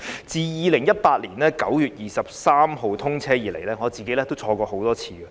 自2018年9月23日通車以來，我個人多次乘坐高鐵。